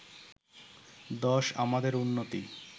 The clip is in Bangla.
১০ আমাদের উন্নতি